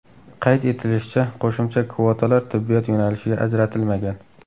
Qayd etilishicha, qo‘shimcha kvotalar tibbiyot yo‘nalishiga ajratilmagan.